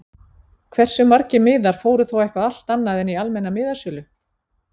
Hversu margir miðar fóru þá eitthvað allt annað en í almenna miðasölu???